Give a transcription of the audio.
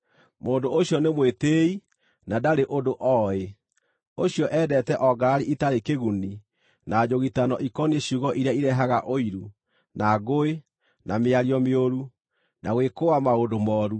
mũndũ ũcio nĩ mwĩtĩĩi na ndarĩ ũndũ oĩ. Ũcio endete o ngarari itarĩ kĩguni na njũgitano ikoniĩ ciugo iria irehaga ũiru, na ngũĩ, na mĩario mĩũru, na gwĩkũũa maũndũ mooru,